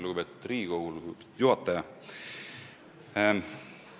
Lugupeetud istungi juhataja!